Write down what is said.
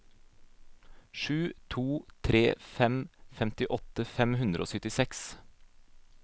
sju to tre fem femtiåtte fem hundre og syttiseks